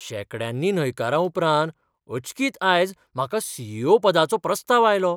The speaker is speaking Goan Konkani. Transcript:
शेंकड्यांनी न्हयकारां उपरांत अचकीत आयज म्हाका सी. ई. ओ पदाचो प्रस्ताव आयलो.